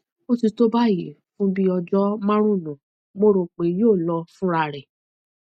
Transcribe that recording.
ó ti tó báyìí fún bíi ọjọ márùnún mo rò pé yóò lọ fúnra rẹ